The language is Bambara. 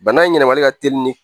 Bana in yɛlɛmali ka teli ni